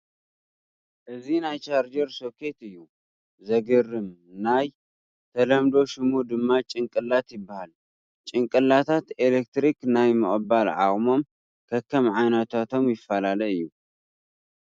እዚ ናይ ቻርጀር ሶኬት እዩ፡፡ ዘግርም ናይ ተለምዶ ሽሙ ድማ ጭንቅላት ይበሃል፡፡ ጭንቅላታት ኤለክትሪክ ናይ ምቕባል ዓቕሞም ከከም ዓይነቶም ይፈላለ እዩ፡፡